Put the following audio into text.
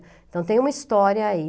Então, tem uma história aí.